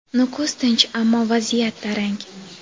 Nukus tinch, ammo vaziyat tarang.